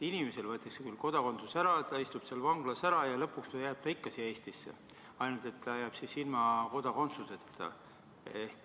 Inimeselt võetakse kodakondsus ära, ta istub vanglas ära ja lõpuks jääb ta ikka Eestisse, ainult et ta jääb siia ilma kodakondsuseta.